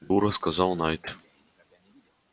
дура сказал найд